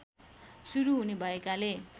सुरु हुने भएकाले